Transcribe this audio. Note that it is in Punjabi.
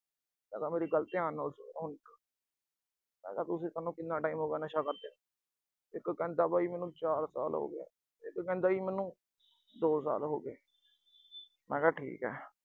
ਮੈਂ ਕਿਹਾ ਮੇਰੀ ਗੱਲ ਧਿਆਨ ਨਾਲ ਸੁਣਿਓਂ ਹੁਣ। ਮੈਂ ਕਿਹਾ, ਤੁਸੀਂ, ਸੋਨੂੰ ਕਿੰਨਾ time ਹੋਗਿਆ ਨਸ਼ਾ ਕਰਦਿਆਂ ਨੂੰ, ਇੱਕ ਕਹਿੰਦਾ ਬਈ ਮੈਨੂੰ ਚਾਰ ਸਾਲ ਹੋਗੇ, ਇੱਕ ਕਹਿੰਦਾ ਜੀ ਮੈਨੂੰ ਦੋ ਸਾਲ ਹੋਗੇ ਮੈਂ ਕਿਹਾ ਠੀਕ ਐ।